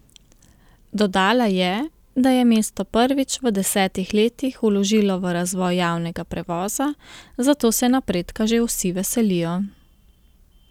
Dodala je, da je mesto prvič v desetih letih vložilo v razvoj javnega prevoza, zato se napredka že vsi veselijo.